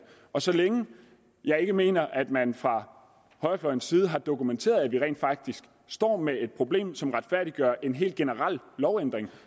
og så længe jeg ikke mener at man fra højrefløjens side har dokumenteret at vi rent faktisk står med et problem som retfærdiggør en hel generel lovændring